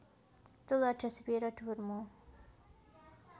Tuladha sepira dhuwur mu